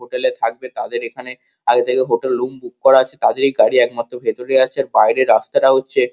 hotel এ থাকবে তাদের এখানে আগে থেকে হোটেল রুম বুক করা আছে তাদের এ গাড়ি একমাত্র ভেতরে আছে আর বাইরে রাস্তাটা হচ্ছে--